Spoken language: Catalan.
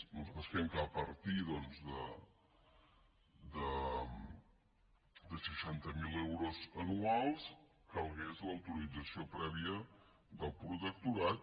nosaltres creiem que a partir doncs de seixanta mil euros anuals calgués l’autorització prèvia del protecto·rat